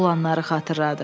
Olanları xatırladı.